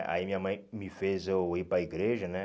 Aí minha mãe me fez eu ir para igreja, né?